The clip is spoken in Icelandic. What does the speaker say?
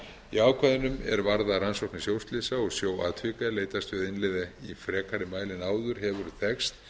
í ákvæðum er varða rannsóknir sjóslysa og sjóatvika er leitast við að innleiða í frekari mæli en áður hefur þekkst